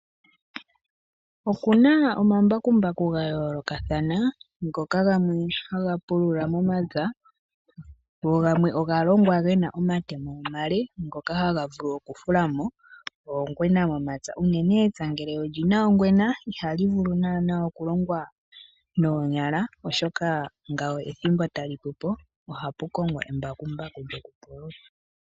Oku na omambakumbaku ga yoolokathana ngoka gamwe haga pulula momapya go gamwe oga longwa ge na omatemo omale ngoka haga vulu okufula mo oongwena momapya, unene epya ngele oli na ongwena ihali vulu naanaa okulongwa noonyala, oshoka ngawo ethimbo tali pupo. Ohapu kongwa embakumbaku lyokupulula.